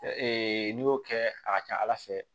n'i y'o kɛ a ka ca ala fɛ